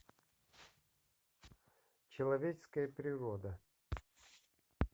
человеческая природа